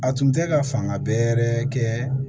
A tun tɛ ka fanga bɛɛ kɛ